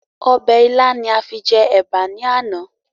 Ọbẹ̀ ilá ni a fi jẹ Ẹ̀bà ni àná.